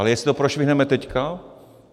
Ale jestli to prošvihneme teď?